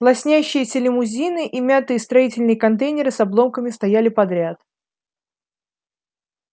лоснящиеся лимузины и мятые строительные контейнеры с обломками стояли подряд